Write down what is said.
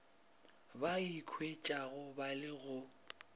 ba ikhwetšago ba le go